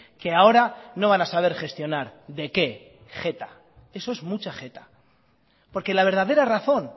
que ahora no van a saber gestionar de qué jeta eso es mucha jeta porque la verdadera razón